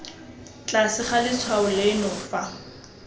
tlase ga letshwao leno fa